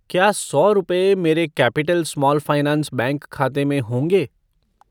क्या सौ रुपये मेरे कैपिटल स्मॉल फ़ाइनेंस बैंक खाते में होंगे?